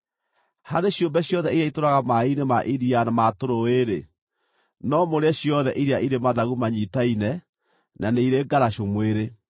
“ ‘Harĩ ciũmbe ciothe iria itũũraga maaĩ-inĩ ma iria na ma tũrũũĩ-rĩ, no mũrĩe ciothe iria irĩ mathagu manyiitaine na nĩ irĩ ngaracũ mwĩrĩ.